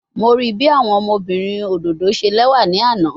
Mo rii bi awọn ọmọbirin ododo ṣe lẹwa ni ana